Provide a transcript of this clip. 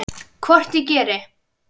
Hvort ég geri!